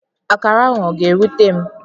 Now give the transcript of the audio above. Akara ahụ ọ ga-erute m?